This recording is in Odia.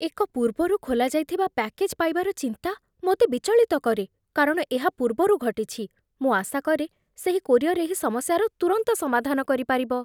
ଏକ ପୂର୍ବରୁ ଖୋଲାଯାଇଥିବା ପ୍ୟାକେଜ୍ ପାଇବାର ଚିନ୍ତା ମୋତେ ବିଚଳିତ କରେ କାରଣ ଏହା ପୂର୍ବରୁ ଘଟିଛି, ମୁଁ ଆଶା କରେ ସେହି କୋରିଅର୍ ଏହି ସମସ୍ୟାର ତୁରନ୍ତ ସମାଧାନ କରିପାରିବ